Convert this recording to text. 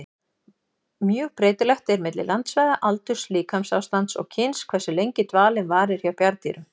Mjög breytilegt er milli landsvæða, aldurs, líkamsástands og kyns hversu lengi dvalinn varir hjá bjarndýrum.